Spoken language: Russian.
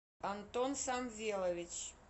антон самвелович